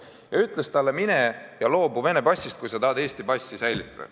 Meie riik ütles talle: mine ja loobu Vene passist, kui sa tahad Eesti passi säilitada.